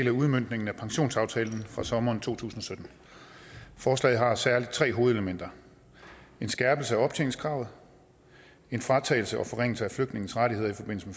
af udmøntningen af pensionsaftalen fra sommeren to tusind og sytten forslaget har særlig tre hovedelementer en skærpelser af optjeningskravet en fratagelse og forringelse af flygtninges rettigheder i forbindelse